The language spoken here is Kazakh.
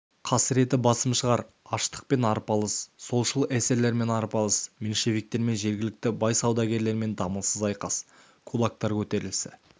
қасіреті басым шығар аштықпен арпалыс солшыл эсерлермен арпалыс меньшевиктермен жергілікті бай саудагерлермен дамылсыз айқас кулактар көтерілісі